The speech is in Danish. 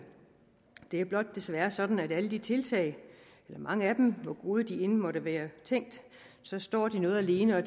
det er blot desværre sådan at alle de tiltag eller mange af dem hvor gode de end måtte være tænkt står noget alene og